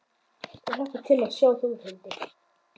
Ég hlakka til að sjá Þórhildi.